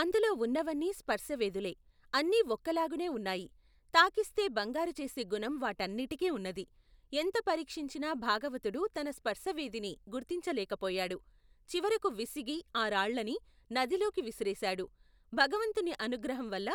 అందులో ఉన్నవన్నీ స్పర్శవేదులే అన్నీ ఒక్కలాగునే ఉన్నాయి తాకిస్తే బంగారుచేసే గుణం వాటన్నింటికీ ఉన్నది ఎంత పరిక్షించినా భాగవతుడు తన స్పర్శవేదిని గుర్తించలేకపోయాడు చివరకు విసిగి ఆ రాళ్లన్ని నదిలోకి విసిరివేశాడు భగవంతుని అనుగ్రహంవల్ల